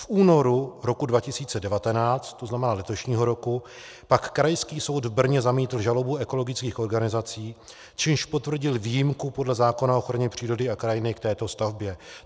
V únoru roku 2019, to znamená letošního roku, pak Krajský soud v Brně zamítl žalobu ekologických organizací, čímž potvrdil výjimku podle zákona o ochraně přírody a krajiny k této stavbě.